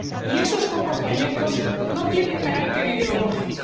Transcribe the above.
Y esos comportamientos no tienen carácter ideológico.